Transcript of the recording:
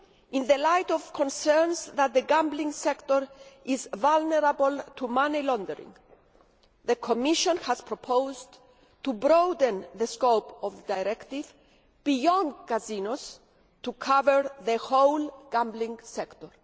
In the light of concerns that the gambling sector is vulnerable to money laundering, the Commission has proposed to broaden the scope of the Directive beyond casinos to cover the whole gambling sector.